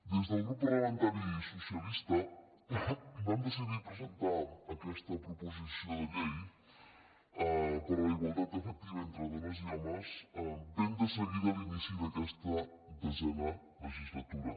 des del grup parlamentari socialista vam decidir presentar aquesta proposició de llei per a la igualtat efectiva entre dones i homes ben de seguida a l’inici d’aquesta desena legislatura